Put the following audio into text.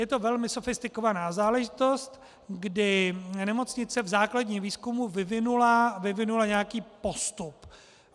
Je to velmi sofistikovaná záležitost, kdy nemocnice v základním výzkumu vyvinula nějaký postup.